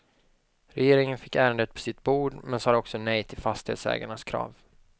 Regeringen fick ärendet på sitt bord, men sade också nej till fastighetsägarnas krav.